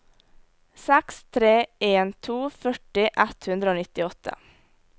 seks tre en to førti ett hundre og nittiåtte